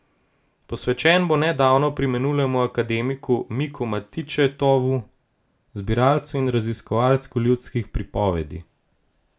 Posvečen bo nedavno preminulemu akademiku Milku Matičetovu, zbiralcu in raziskovalcu ljudskih pripovedi.